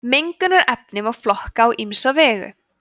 mengunarefni má flokka á ýmsa vegu